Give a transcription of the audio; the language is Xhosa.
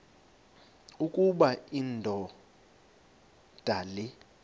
ukuba indoda le